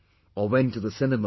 Orwent to the cinema